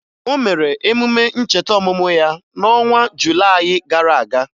O mere emume ncheta ọmụmụ ya n'ọnwa Julayị gara aga